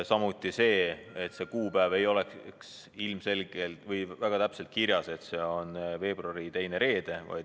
Samuti pannakse ette, et see kuupäev ei oleks väga täpselt kirjas, et see on veebruari teine reede.